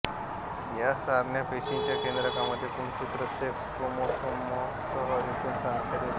या सारण्या पेशींच्या केंद्रकांमध्ये गुणसूत्र सेक्स क्रोमोसोमसह एकूण संख्या देतात